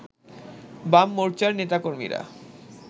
বাম মোর্চার নেতাকর্মীরা